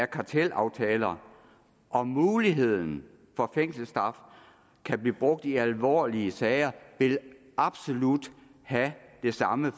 kartelaftaler og muligheden for at fængselsstraf kan blive brugt i alvorlige sager vil absolut have den samme